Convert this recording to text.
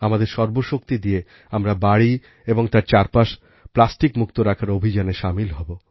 আমাদের সর্বশক্তি দিয়ে আমরা বাড়ি এবং তার চারপাশ প্লাস্টিকমুক্ত রাখার অভিযানে সামিল হব